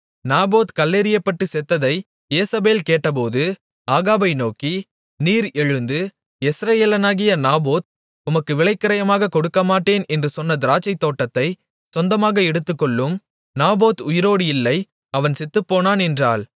Naboth கல்லெறியப்பட்டு செத்ததை Jezebel கேட்டபோது ஆகாபை நோக்கி நீர் எழுந்து யெஸ்ரயேலனாகிய நாபோத் உமக்கு விலைக்கிரயமாகக் கொடுக்கமாட்டேன் என்று சொன்ன திராட்சைத்தோட்டத்தைச் சொந்தமாக எடுத்துக்கொள்ளும் நாபோத் உயிரோடு இல்லை அவன் செத்துப்போனான் என்றாள்